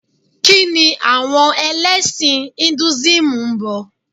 Kíni àwọn ẹlẹ́sìn Ìnduísímù Induísímù ń bọ?